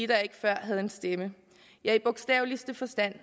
der ikke før havde en stemme i bogstaveligste forstand